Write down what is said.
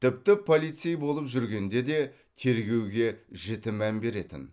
тіпті полицей болып жүргенде де тергеуге жіті мән беретін